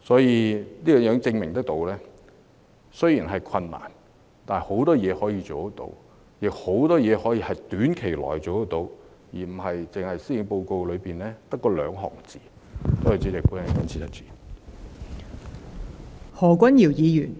這亦證明了雖然會有困難，但可以做的事情仍有很多，亦有很多事情可以在短期內辦得到，而不只是施政報告內的寥寥數語。